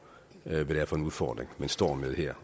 hvad det er for en udfordring man står med her